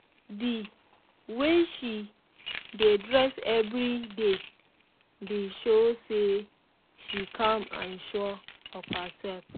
the way she dey dress every day dey show say she calm and sure of herself